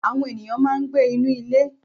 Àwọn ènìyàn máa ń gbé inú ilé.